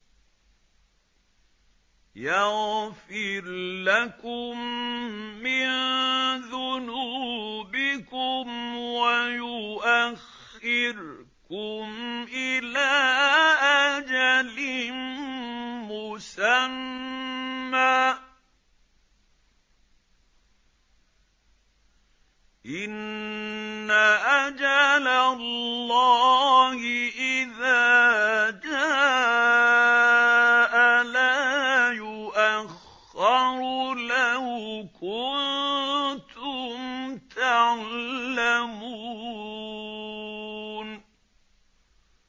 يَغْفِرْ لَكُم مِّن ذُنُوبِكُمْ وَيُؤَخِّرْكُمْ إِلَىٰ أَجَلٍ مُّسَمًّى ۚ إِنَّ أَجَلَ اللَّهِ إِذَا جَاءَ لَا يُؤَخَّرُ ۖ لَوْ كُنتُمْ تَعْلَمُونَ